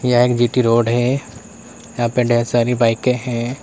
Road है यहां पे ढेर सारी बाइकें हैं।